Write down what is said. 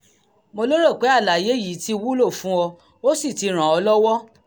mo lérò pé àlàyé yìí ti wúlò fún ọ ó sì ti ràn ọ́ lọ́wọ́